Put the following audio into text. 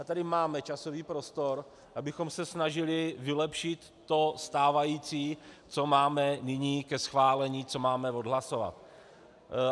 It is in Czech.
A tady máme časový prostor, abychom se snažili vylepšit to stávající, co máme nyní ke schválení, co máme odhlasovat.